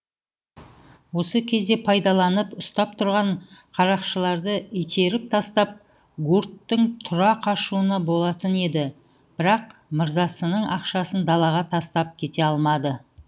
осы кезді пайдаланып ұстап тұрған қарақшыларды итеріп тастап гурттың тұра қашуына болатын еді бірақ мырзасының ақшасын далаға тастап кете алмады